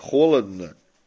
холодно